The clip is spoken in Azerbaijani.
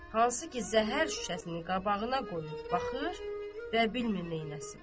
hansı ki zəhər şüşəsini qabağına qoyub baxır və bilmir neyləsin.